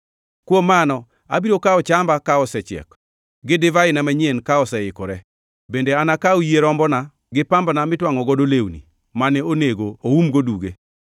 “Kuom mano abiro kawo chamba ka osechiek, gi divaina manyien ka oseikore. Bende anakaw yie rombona gi pambana mitwangʼo godo lewni mane onego oum-go duge.